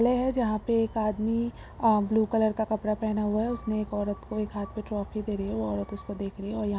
लेह हैं जहाँ पे एक आदमी अ ब्लू कलर का कपड़ा पहना हुआ हैं उसने एक औरत को एक हाथ पे ट्रॉफी दे रही हैं औरत उसको देख रही हैं और--